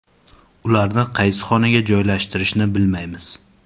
Ularni qaysi xonaga joylashtirishni bilmaymiz.